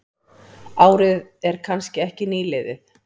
Árið er kannski ekki nýliðið.